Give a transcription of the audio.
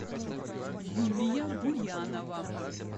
юлия буянова